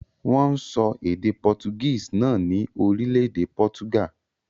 Wọ́n ń sọ èdè Portuguese náà ní orílẹ̀-èdè Portugal.